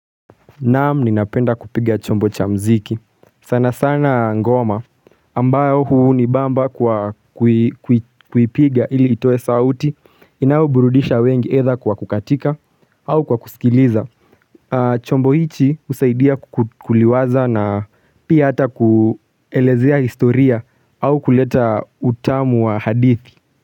Naam ni napenda kupiga chombo cha mziki sana sana ngoma ambayo huu ni bamba kwa kuipiga ili itoe sauti inayoburudisha wengi either kwa kukatika au kwa kusikiliza chombo ichi usaidia kukuliwaza na pia ata kuelezea historia au kuleta utamu wa hadithi.